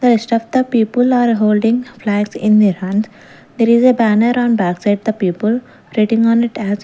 the rest of the people are holding flags in their hands there is a banner on backside the people written on it as --